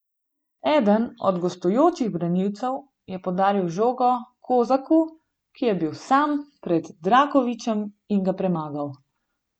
Eden od gostujočih branilcev je podaril žogo Kozaku, ki je bil sam pred Drakovićem in ga premagal.